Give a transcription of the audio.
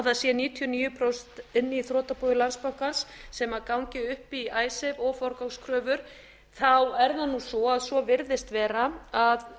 það séu níutíu og níu prósent inni í þrotabúi landsbankans sem gangi upp í icesave og forgangskröfur þá er það svo að svo virðist vera að